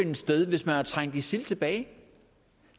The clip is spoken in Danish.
finde sted hvis man har trængt isil tilbage